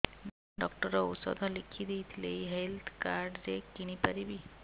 doctor ଔଷଧ ଲେଖିଦେଇଥିଲେ ଏଇ ହେଲ୍ଥ କାର୍ଡ ରେ କିଣିପାରିବି